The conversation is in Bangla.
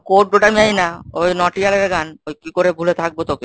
code ওটা আমি জানি না ওই নোটিয়ারের গান। ওই কি করে ভুলে থাকবো তোকে?